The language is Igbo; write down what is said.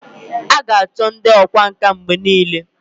a ga-acho ndi okwá nkà mgbe nile